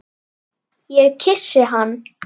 Og svipað fór fyrir Jóni.